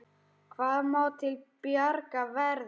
Hvað má til bjargar verða?